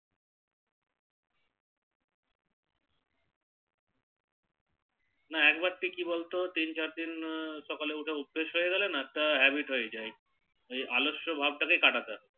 না একবার কি তুই বল তো তিন চার দিন সকালে উঠা অভ্যেস হয়ে গেলে না তা Habit হয়ে যায় এই আলস্য ভাব টা কাটাতে হবে